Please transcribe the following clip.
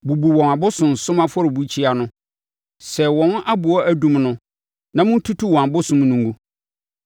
Bubu wɔn abosonsom afɔrebukyia no. Sɛe wɔn aboɔ adum no na montutu wɔn abosom no ngu.